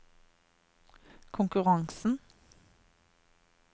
konkurransen